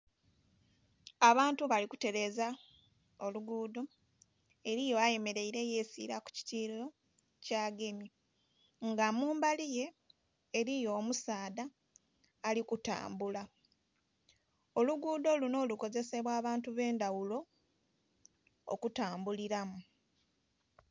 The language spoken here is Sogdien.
Abantu bali kuteleeza oluguudho. Eliyo ayemeleile yesiila ku kitiyo kyagemye. Nga mumbali ye eliyo omusaadha ali kutambula. Oluguudho luno lukozesebwa abantu b'endhaghulo okutambulilamu.